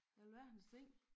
Alverdens ting